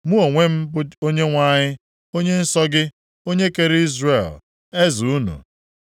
Mụ onwe m bụ Onyenwe anyị, Onye nsọ gị, onye kere Izrel, Eze unu.”